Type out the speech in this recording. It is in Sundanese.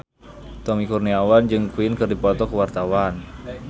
Tommy Kurniawan jeung Queen keur dipoto ku wartawan